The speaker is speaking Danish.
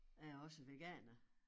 Jeg er også veganer